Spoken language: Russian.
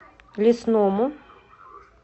лесному